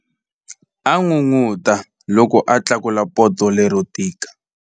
A n'unun'uta loko a tlakula poto lero tika.